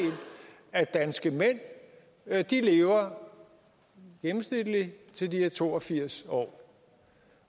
af de danske mænd i gennemsnit lever til de er to og firs år